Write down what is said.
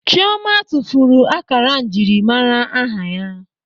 Chịọma tụfuru ákárá njiri mmara aha ya.